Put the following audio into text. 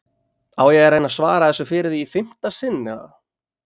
Á ég að reyna að svara þessu fyrir þig í fimmta sinn, eða?